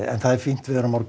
það er fínt veður á morgun